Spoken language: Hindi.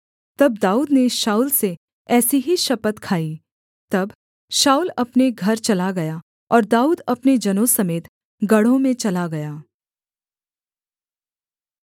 तब दाऊद ने शाऊल से ऐसी ही शपथ खाई तब शाऊल अपने घर चला गया और दाऊद अपने जनों समेत गढ़ों में चला गया